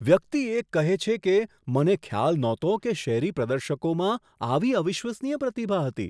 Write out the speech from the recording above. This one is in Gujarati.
વ્યક્તિ એક કહે છે કે, મને ખ્યાલ નહોતો કે શેરી પ્રદર્શકોમાં આવી અવિશ્વસનીય પ્રતિભા હતી.